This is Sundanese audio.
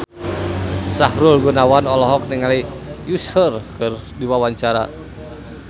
Sahrul Gunawan olohok ningali Usher keur diwawancara